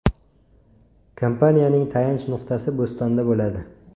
Kompaniyaning tayanch nuqtasi Bostonda bo‘ladi.